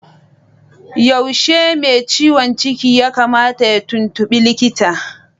Yaushe mai ciwon ciki ya kamata ya tuntubi likita?